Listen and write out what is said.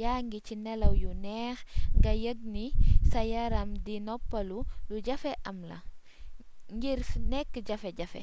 yaa ngi ci nelaw yu neex nga yëg ni sa yaram di noppaloo lu jafee am la ngir nekk jafe-jafe